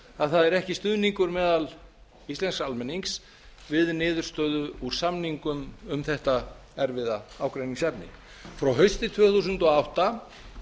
að það var ekki stuðningur meðal íslensks almennings við niðurstöðu úr samningum um þetta erfiða ágreiningsefni frá hausti tvö þúsund og átta